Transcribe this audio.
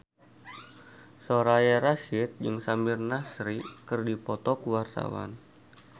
Soraya Rasyid jeung Samir Nasri keur dipoto ku wartawan